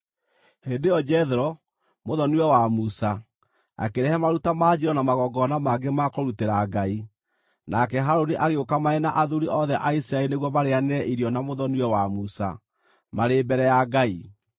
Hĩndĩ ĩyo Jethero, mũthoni-we wa Musa, akĩrehe maruta ma njino na magongona mangĩ ma kũrutĩra Ngai, nake Harũni agĩũka marĩ na athuuri othe a Isiraeli nĩguo marĩĩanĩre irio na mũthoni-we wa Musa, marĩ mbere ya Ngai.